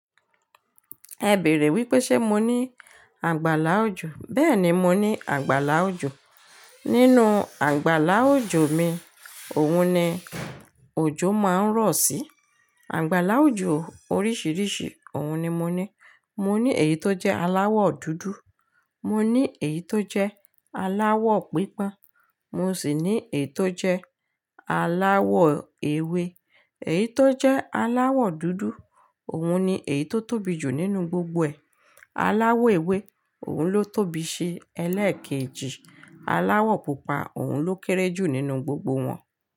Ẹ bèèrè wípé ṣe mo ní àgbàlá òjò, béèni mo ní àgbàlá òjò. Nínú àgbàlá òjò mi, òun ni òjò máa ń rọ̀ sí. Àgbàlá òjò oríṣìíríṣìí, òun ni mo ní. Mo ní èyí tó jẹ́ aláwọ̀ dúdú, mo ní èyí tó jẹ́ aláwọ̀ pípa, mo sì ní èyí tó jẹ́ aláwọ̀ ewé. Èyí tó jẹ́ aláwọ̀ dúdú, òun ni èyí tó tóbi jù nínú gbogbo ẹ. Aláwọ̀ ewé, òun ló tóbi sí ẹlẹ́ẹ̀kejì. Aláwọ̀ pupa, òun ló kéré jù nínú gbogbo wọn.